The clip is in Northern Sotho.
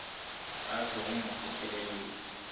a tlogo go mo feleletša